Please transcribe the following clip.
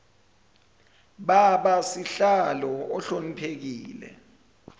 baba sihlalo ohloniphekile